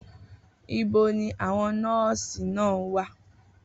Ibo ni àwọn nọ́ọ̀sì náà wà?